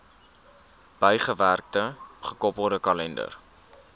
bygewerkte gekoppelde kalender